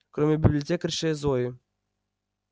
кроме библиотекарши зои